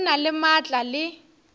o na le maatla le